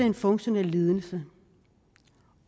en funktionel lidelse